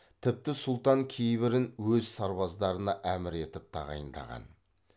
тіпті сұлтан кейбірін өз сарбаздарына әмір етіп тағайындаған